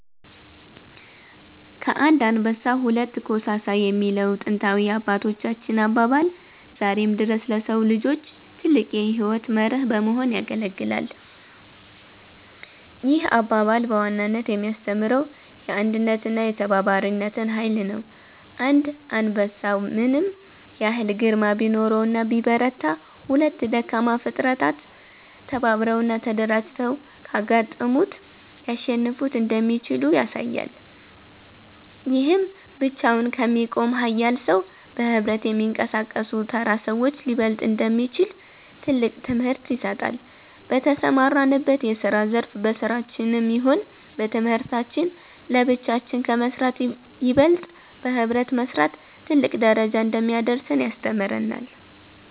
ከአንድ አንበሳ ሁለት ኮሳሳ የሚለው ጥንታዊ የአባቶቻችን አባባል ዛሬም ድረስ ለሰው ልጆች ትልቅ የሕይወት መርህ በመሆን ያገለግላል። ይህ አባባል በዋናነት የሚያስተምረው የአንድነትንና የተባባሪነትን ኃይል ነው። አንድ አንበሳ ምንም ያህል ግርማ ቢኖረውና ቢበረታ፤ ሁለት ደካማ ፍጥረታት ተባብረውና ተደራጅተው ካጋጠሙት ሊያሸንፉት እንደሚችሉ ያሳያል። ይህም ብቻውን ከሚቆም ኃያል ሰው፣ በኅብረት ከሚንቀሳቀሱ ተራ ሰዎች ሊበለጥ እንደሚችል ትልቅ ትምህርት ይሰጣል። በተሰማራንበት የስራ ዘርፍ በስራችንም ይሁን በትምህርታችን ለብቻችን ከመስራት ይበልጥ በህብረት መስራት ትልቅ ደረጃ እንደሚያደርሰን ያስተምረናል።